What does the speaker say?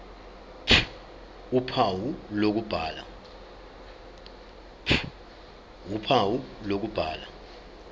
ph uphawu lokubhala